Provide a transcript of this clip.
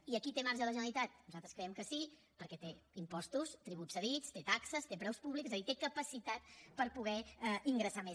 i aquí té marge la generalitat nosaltres creiem que sí perquè té impostos tributs cedits té taxes té preus públics és a dir té capacitat per poder ingressar més